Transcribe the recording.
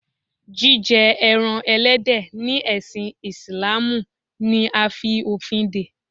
Jíjẹ ẹran Ẹlẹ́dẹ̀ ni ẹsin Ìsìlámù ni a fi òfin dè.